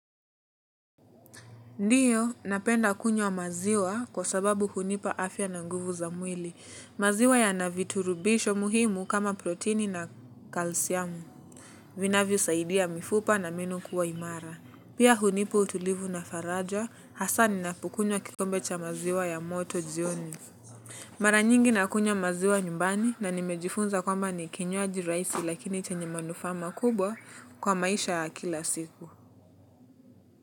Ndiyo, napenda kunywa maziwa kwa sababu hunipa afya na nguvu za mwili. Maziwa yana viturubisho muhimu kama proteini na kalsiamu. Vinavyosaidia mifupa na meno kuwa imara. Pia hunipa utulivu na faraja, hasa ninapokunywa kikombe cha maziwa ya moto jioni. Mara nyingi nakunywa maziwa nyumbani na nimejifunza kwamba ni kinywaji rahisi lakini chenye manufaa makubwa kwa maisha ya kila siku.